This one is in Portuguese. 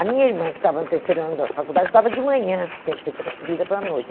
A minha irmã, que estava no terceiro ano da faculdade, estudava de manhã, tinha que ser transferida para a noite.